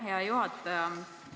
Hea juhataja!